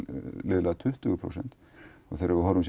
tuttugu prósent og þegar við horfum